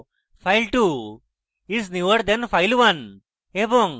file2 is newer than file1